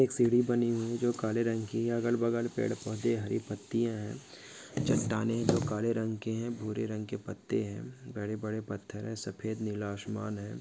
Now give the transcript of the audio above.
एक सीडी बनी हुई जो काले रंग की है अलग बगल पेड़ पौधे रही पत्तीया है चटाने जो काले रंग के है बुरे रंग के पत्ते है बड़े बड़े पथर है सफ़ेद नीला आसमान है।